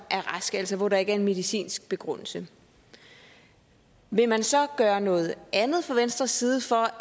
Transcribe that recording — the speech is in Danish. er raske altså hvor der ikke er en medicinsk begrundelse vil man så gøre noget andet fra venstres side for